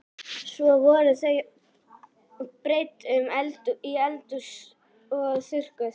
Svo voru þau breidd upp í eldhús og þurrkuð.